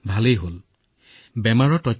ভালেই হল গম পালো